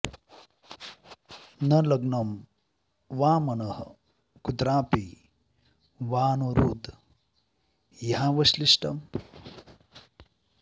न लग्नं वा मनः कुत्रापि वा नो हृद् ह्यवश्लिष्टम्